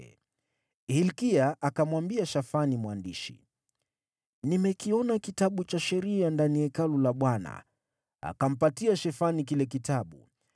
Hilkia akamwambia Shafani mwandishi, “Nimekipata Kitabu cha Sheria ndani ya Hekalu la Bwana .” Akampa Shafani kile Kitabu.